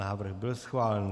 Návrh byl schválen.